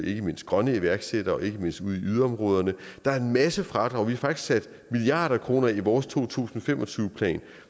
ikke mindst grønne iværksættere ikke mindst ude i yderområderne der er en masse fradrag og vi har faktisk sat milliarder af kroner af i vores to tusind og fem og tyve plan